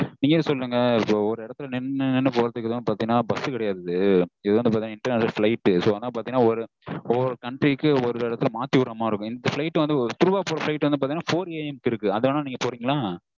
நீங்கலே சொல்லுங்க இது வந்து ஒரு இடத்துல நின்னு நின்னு போகறதுக்கு bus கெடயாது இது வந்து international flight so அதுனால ஒரு ஒரு country க்கு ஒரு இடத்துல மாத்தி விட்ற மாதிரி இருக்கும் இந்த flight வந்து through வா போற flight வந்து four AM க்கு இருக்கு நீங்க வேணா போறீங்களா?